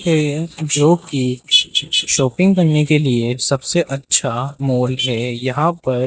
जो की शॉपिंग करने के लिए सबसे अच्छा मॉल है यहां पर --